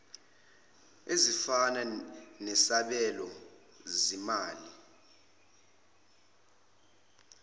ezifana nesabelo zimali